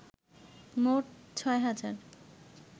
মোট ৬ হাজার